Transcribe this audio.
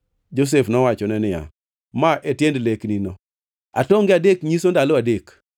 Josef nowachone niya, “Ma e tiend leknino. Atonge adek nyiso ndalo adek.